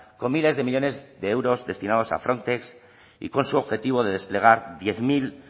con miles de millónes de euros destinados a y con su objetivo de desplegar diez mil